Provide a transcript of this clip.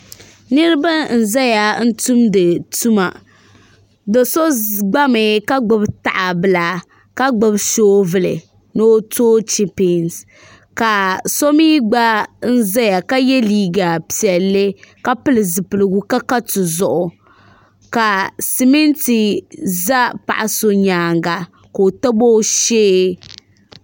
niriba n zaya n tumdi tuma do'so gbami ka gbibi tahabila ka gbibi soobuli ni o toogi chipinsi ka so mii gba zaya ka ye liiga piɛlli ka pili zipiligu ka ka tuzuɣu ka simiti za paɣa so nyaanga ka o tabi o shee